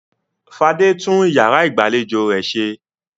Fadé tún ìyàrá ìgbàlejò rẹ̀ ṣe.